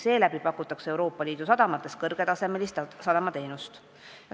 Seeläbi pakutakse Euroopa Liidu sadamates kõrgetasemelisi sadamateenuseid.